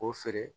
O feere